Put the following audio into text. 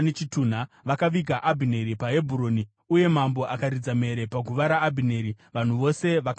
Vakaviga Abhineri paHebhuroni, uye mambo akaridza mhere paguva raAbhineri. Vanhu vose vakachemawo.